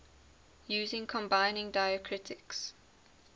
using combining diacritics